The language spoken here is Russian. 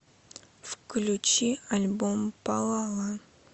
включи альбом палала